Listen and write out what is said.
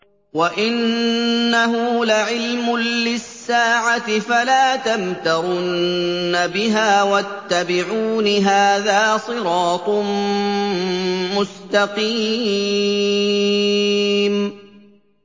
وَإِنَّهُ لَعِلْمٌ لِّلسَّاعَةِ فَلَا تَمْتَرُنَّ بِهَا وَاتَّبِعُونِ ۚ هَٰذَا صِرَاطٌ مُّسْتَقِيمٌ